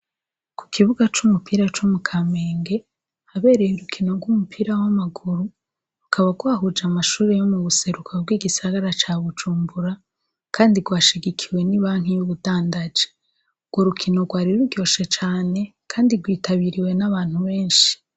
Ku kibuga c'umupira co mu Kamenge, habereye urukino rw'umupira w'amaguru. Rukaba rwahuje abanyeshure bo mu buseruko bw'igisagara ca Bujumubura, kandi rwashigikiwe n'ibanki y'ubudandaji. Urwo rukino rwari ruryoshe cane kandi rwitabiriwe n'abantu benshi.